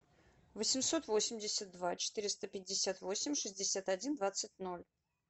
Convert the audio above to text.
восемьсот восемьдесят два четыреста пятьдесят восемь шестьдесят один двадцать ноль